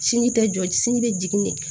Sini tɛ jɔ sin be jigin